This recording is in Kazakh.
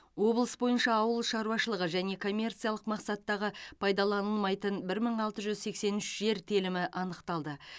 облыс бойынша ауыл шаруашылығы және коммерциялық мақсаттағы пайдаланылмайтын мың алты жүз сексен үш жер телімі анықталды